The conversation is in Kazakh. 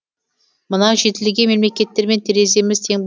мынау жетілген мемлекеттермен тереземіз тең